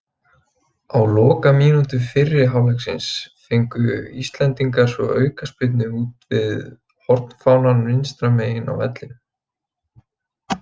Á lokamínútu fyrri hálfleiks fengu íslendingar svo aukaspyrnu úti við hornfánann vinstra megin á vellinum.